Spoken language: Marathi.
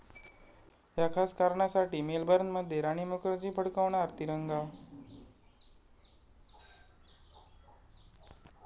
या' खास कारणासाठी मेलबर्नमध्ये राणी मुखर्जी फडकवणार तिरंगा